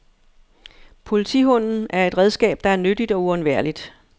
Politihunden er et redskab, der er nyttigt og uundværligt.